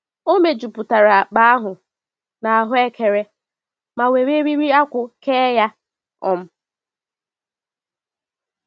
O mejupụtara akpa ahụ na ahuekere ma were eriri akwụ kee ya. um